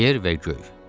Yer və göy.